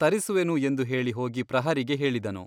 ತರಿಸುವೆನು ಎಂದು ಹೇಳಿ ಹೋಗಿ ಪ್ರಹರಿಗೆ ಹೇಳಿದನು.